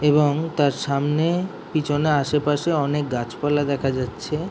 এবং তার সামনে পিছনে আশেপাশে অনেক গাছপালা দেখা যাচ্ছে।